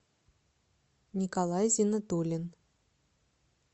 николай зиннатуллин